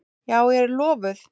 Já, ég er lofuð.